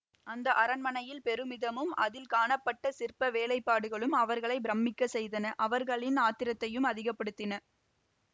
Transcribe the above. அந்த அரண்மனையில் பெருமிதமும் அதில் காணப்பட்ட சிற்ப வேலைப்பாடுகளும் அவர்களை பிரமிக்கச் செய்தன அவர்களின் ஆத்திரத்தையும் அதிகப்படுத்தின